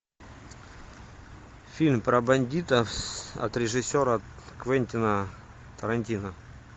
фильм про бандитов от режиссера квентина тарантино